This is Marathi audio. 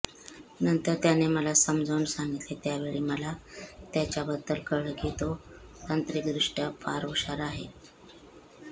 नंतर त्याने मला समजावून सांगितले त्यावेळी मला त्याच्याबद्दल कळलं की तो तांत्रिकदृष्टय़ा फार हुशार आहे